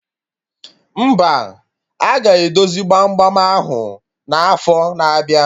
Mba, aga edozi gbam gbam ahụ n'afo na-abịa